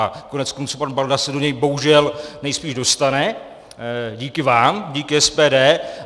A koneckonců, pan Balda se do něj bohužel nejspíš dostane díky vám, díky SPD.